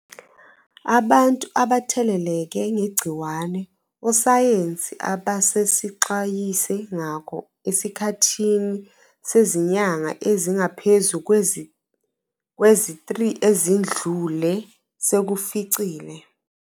.abantu abatheleleke ngegciwane ososayensi ababesixwayise ngako esikhathini sezinyanga ezingaphezu kwezi-3 ezidlule sekusificile.